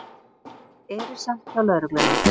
Erilsamt hjá lögreglunni